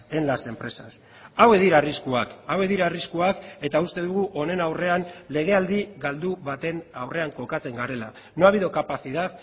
en las empresas hauek dira arriskuak hauek dira arriskuak eta uste dugu honen aurrean legealdi galdu baten aurrean kokatzen garela no ha habido capacidad